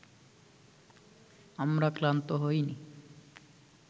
আমরা ক্লান্ত হইনি